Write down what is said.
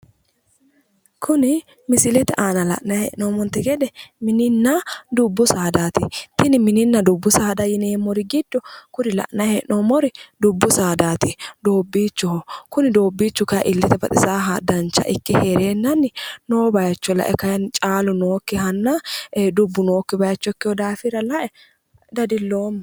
Kuni misilete aana la'nayi hee'nommonte gede, mininna dubbu saada tini mininna dubbu saadaati yineemmori giddo dubbu saadaati doobbiichoho, kuni dobbiichu illete baxusahanna dancha ikke heerennanni noo bayicho lae kayinni dubbu nookkihanna caalu nookki bayicho ikkehura dadilloomma.